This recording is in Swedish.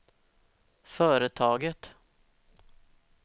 företaget